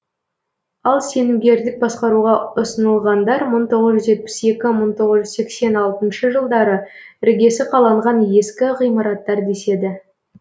ал сенімгерлік басқаруға ұсынылғандар мың тоғыз жүз жетпіс екі мың тоғыз жүз сексен алтыншы жылдары іргесі қаланған ескі ғимараттар деседі